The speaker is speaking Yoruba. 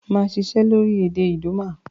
Màa sisẹ́ lórí èdè Idoma